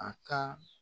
A ka